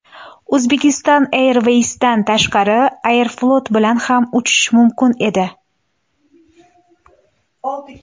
Uzbekistan airways’dan tashqari ‘Aeroflot’ bilan ham uchish mumkin edi.